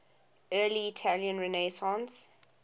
early italian renaissance